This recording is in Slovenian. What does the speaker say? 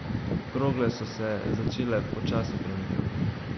Krogle so se začele počasi premikati.